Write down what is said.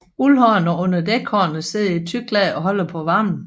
Uldhårene under dækhårene sidder i et tykt lag og holder på varmen